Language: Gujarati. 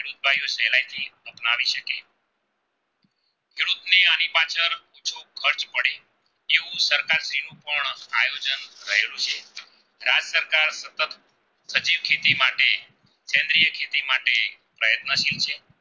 બેડ મશીન છે